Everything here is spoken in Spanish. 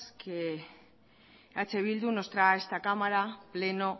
que eh bildu nos trae a esta cámara pleno